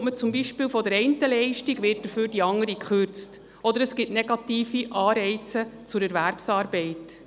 Erhält man beispielsweise die eine Leistung, wird die andere im Gegenzug gekürzt, oder es gibt negative Anreize zur Erwerbsarbeit.